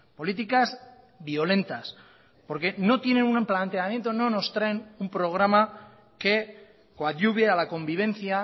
políticas violentas porque no tienen un planteamiento no nos traen un programa que coadyuve a la convivencia